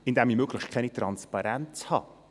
Indem ich möglichst keine Transparenz habe.